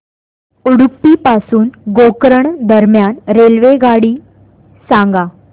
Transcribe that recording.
उडुपी पासून गोकर्ण दरम्यान रेल्वेगाडी सांगा